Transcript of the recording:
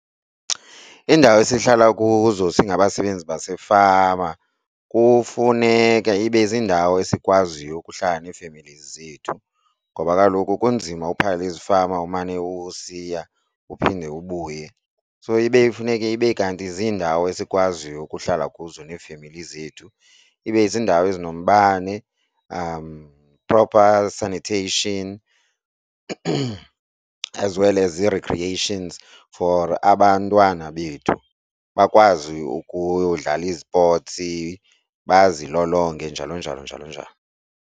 Iindawo esihlala kuzo singabasebenzi basefama kufuneka ibe ziindawo esikwaziyo ukuhlala neefemeli zethu ngoba kaloku kunzima uphangela ezifama umane usiya uphinde ubuye. So ibe funeke ibe kanti ziindawo esikwaziyo ukuhlala kuzo neefemeli zethu. Ibe ziindawo ezinombane, proper sanitation as well as ii-recreations for abantwana bethu bakwazi ukudlala izipoti bazilolonge njalo njalo njalo njalo.